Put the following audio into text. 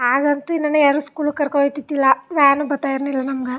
ಆಗಂತು ನನ್ನ ಯಾರು ಸ್ಕೂಲಿಗೆ ಕರ್ಕೊಂಡ್ ಹೋಯ್ ತಿತ್ ತ್ತಿಲ್ಲಾ ವ್ಯಾನ್ ಬತ್ತಾ ಇರ್ನಿಲ್ಲ ನಮಗೆ.